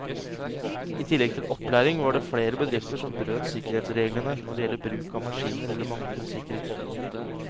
I tillegg til opplæring var det flere bedrifter som brøt sikkerhetsreglene når det gjelder bruk av maskiner eller manglende sikkerhetsutstyr.